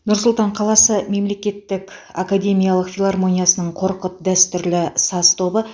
нұр сұлтан қаласы мемлекеттік академиялық филармониясының қорқыт дәстүрлі саз тобы